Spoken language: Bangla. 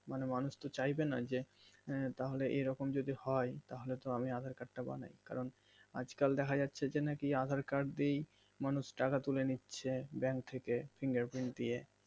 মানে মানুষ তো চাইবেনা যে আঃ তাহলে এইরকম যদি হয় তাহলে তো আমি aadhaar card বানাই কারণ আজ কাল দেখা যাচ্ছে যে নাকি aadhaar card এই মানুষ টাকা তুলে নিচ্ছে bank থেকে finger print দিয়ে